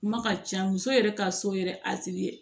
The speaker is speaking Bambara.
Kuma ka ca muso yɛrɛ ka so yɛrɛ